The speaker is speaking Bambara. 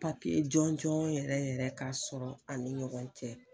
Papiye jɔnjɔn yɛrɛ yɛrɛ k'a sɔrɔ ani ɲɔgɔn cɛ.